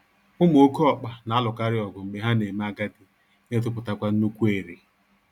Ụmụ oké ọkpa na-alụkarịọgụ mgbe ha na-eme agadi na-etopụtakwa nnukwu ere